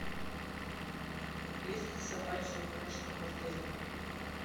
есть ли собачьи упряжки в отеле